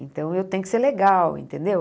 Então, eu tenho que ser legal, entendeu?